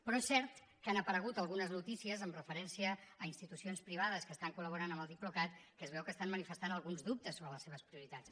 però és cert que han aparegut algunes notícies amb referència a institucions privades que estan col·laborant amb el diplocat que es veu que estan manifestant alguns dubtes sobre les seves prioritats